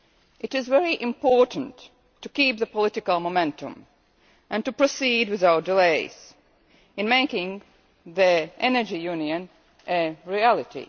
It is very important to keep the political momentum and to proceed without delay in making the energy union a reality.